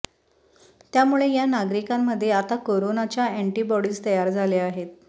त्यामुळे या नागरिकांमध्ये आता कोरोनाच्या अँटीबॉडीज तयार झाल्या आहेत